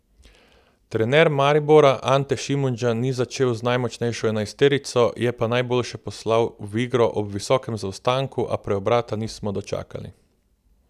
Trener Maribora Ante Šimundža ni začel z najmočnejšo enajsterico, je pa najboljše poslal v igro ob visokem zaostanku, a preobrata nismo dočakali.